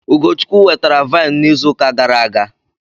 Ugochukwu wetara vine n'izu uka gara aga.